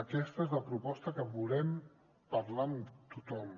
aquesta és la proposta que volem parlar amb tothom